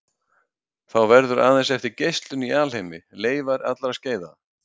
Þá verður aðeins eftir geislun í alheimi, leifar allra skeiða.